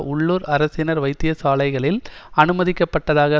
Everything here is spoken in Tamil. உள்ளூர் அரசினர் வைத்தியசாலைகளில் அனுமதிக்கப்பட்டதாக